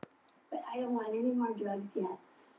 Svo ók hún í burtu.